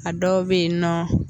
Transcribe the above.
A dɔw be yen nɔ